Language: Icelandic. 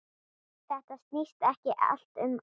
Þetta snýst ekkert um ást.